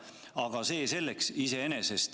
Aga see selleks.